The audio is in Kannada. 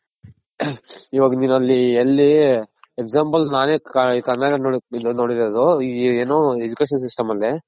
ಇವಾಗ ನಿನ್ ಅಲ್ಲಿ Example ನಾವೇ ಕರ್ನಾಟಕದಲ್ ನೋಡಿರೋದ್ ಏನು Education system ಅಲ್ಲಿ.